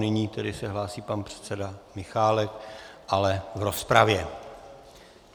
Nyní se tedy hlásí pan předseda Michálek, ale v rozpravě.